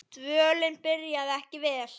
Dvölin byrjaði ekki vel.